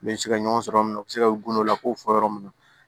U bɛ se ka ɲɔgɔn sɔrɔ yɔrɔ min u bɛ se ka u gundow la k'o fɔ yɔrɔ min na